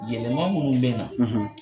Yɛlɛma minnu bɛ na, .